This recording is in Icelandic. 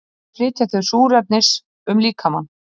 Þannig flytja þau súrefnis um líkamann.